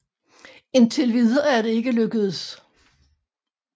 Indtil videre er det ikke lykkedes